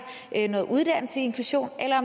noget uddannelse i inklusion eller